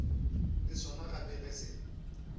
le sona gape ge se